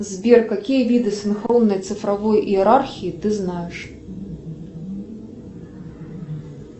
сбер какие виды синхронной цифровой иерархии ты знаешь